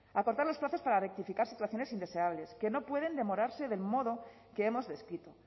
acortar los plazos para rectificar situaciones indeseables que no pueden demorarse del modo que hemos descrito